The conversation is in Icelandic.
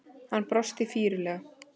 Hann brosti flírulega.